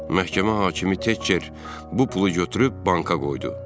Məhkəmə hakimi Teker bu pulu götürüb banka qoydu.